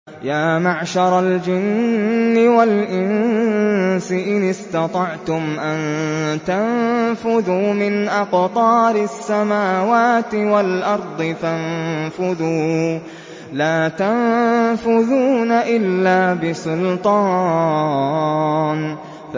يَا مَعْشَرَ الْجِنِّ وَالْإِنسِ إِنِ اسْتَطَعْتُمْ أَن تَنفُذُوا مِنْ أَقْطَارِ السَّمَاوَاتِ وَالْأَرْضِ فَانفُذُوا ۚ لَا تَنفُذُونَ إِلَّا بِسُلْطَانٍ